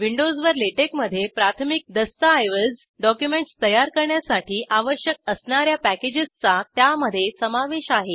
विंडोजवर LaTeX मध्ये प्राथमिक दस्ताऐवज डॉक्युमेंट्स तयार करण्यासाठी आवश्यक असणार्या पॅकेजेसचा त्यामध्ये समावेश आहे